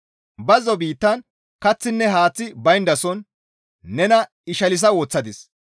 Bazzo biittan kaththinne haaththi bayndason nena ishalsa woththadis.